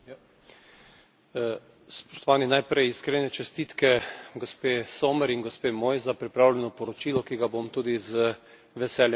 Najprej iskrene čestitke gospe Sommer in gospe Moi za pripravljeno poročilo, ki ga bom tudi z veseljem podprl pri samem glasovanju.